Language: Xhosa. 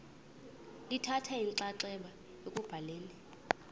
lithatha inxaxheba ekubhaleni